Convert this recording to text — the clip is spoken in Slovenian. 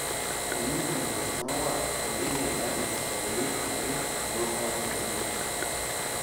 Trenutna zaznava Slovenije je, da se veliko govori in bolj malo zgodi.